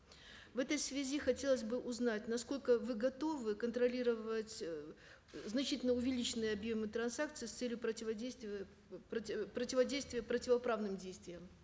в этой связи хотелось бы узнать насколько вы готовы контролировать значительно увеличенные объемы транзакций с целью противодействия противоправным действиям